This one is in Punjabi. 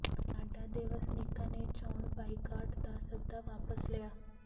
ਨਾਡਾ ਦੇ ਵਸਨੀਕਾਂ ਨੇ ਚੋਣ ਬਾਈਕਾਟ ਦਾ ਸੱਦਾ ਵਾਪਸ ਲਿਆ